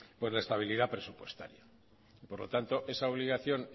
pues la estabilidad presupuestaria por lo tanto esa obligación